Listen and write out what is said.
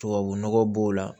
Tubabu nɔgɔ b'o la